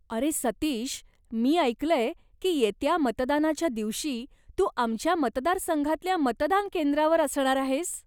अरे सतीश, मी ऐकलंय की येत्या मतदानाच्या दिवशी तू आमच्या मतदारसंघातल्या मतदानकेंद्रावर असणार आहेस.